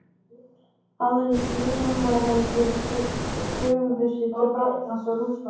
Aðrir frummælendur brugðu sér til Frakklands og Rússlands.